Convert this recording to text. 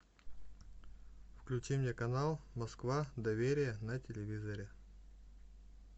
включи мне канал москва доверие на телевизоре